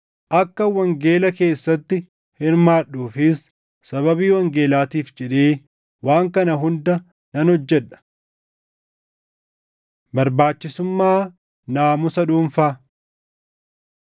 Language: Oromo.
Akkan wangeela keessatti hirmaadhuufis sababii wangeelaatiif jedhee waan kana hunda nan hojjedha. Barbaachisummaa Naamusa Dhuunfaa